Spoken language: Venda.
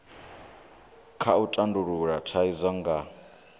kha u tandulula thaidzo nga